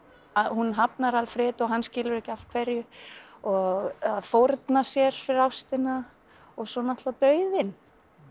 hún hafnar Alfredo og hann skilur ekki af hverju og að fórna sér fyrir ástina og svo náttúrulega dauðinn